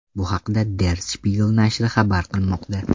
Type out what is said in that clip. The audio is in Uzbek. Bu haqda Der Spiegel nashri xabar qilmoqda .